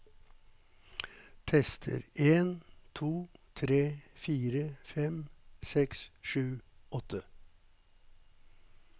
Tester en to tre fire fem seks sju åtte